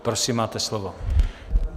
Prosím, máte slovo.